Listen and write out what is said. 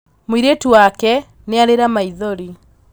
Mūirītu wake nīarīra maithori